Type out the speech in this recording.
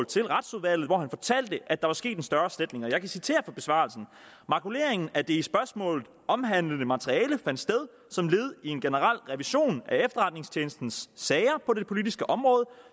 til retsudvalget hvor han fortalte at der var sket en større sletning jeg kan citere fra besvarelsen makuleringen af det i spørgsmålet omhandlede materiale fandt sted som led i en generel revision af efterretningstjenestens sager på det politiske område